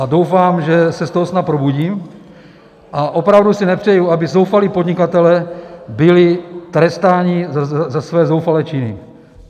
A doufám, že se z toho snad probudím, a opravdu si nepřeju, aby zoufalí podnikatelé byli trestáni za své zoufalé činy.